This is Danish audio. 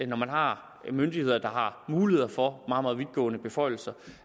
når man har myndigheder der har muligheder for meget meget vidtgående beføjelser